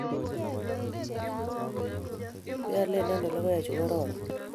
Keale ano logoek chu kororon?